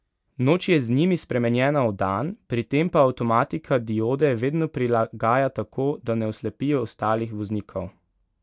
Noč je z njimi spremenjena v dan, pri tem pa avtomatika diode vedno prilagaja tako, da ne oslepijo ostalih voznikov.